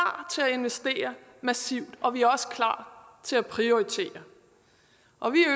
investere massivt og vi er også klar til at prioritere og vi